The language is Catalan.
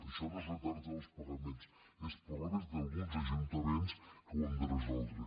això no és retard en els pagaments són problemes d’alguns ajuntaments que ho han de resoldre